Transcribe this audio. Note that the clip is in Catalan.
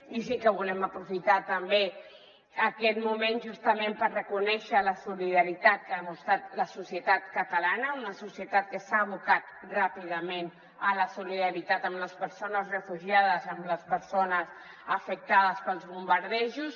i sí que volem aprofitar també aquest moment justament per reconèixer la solida·ritat que ha demostrat la societat catalana una societat que s’ha abocat ràpidament a la solidaritat amb les persones refugiades amb les persones afectades pels bom·bardejos